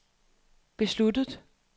besluttet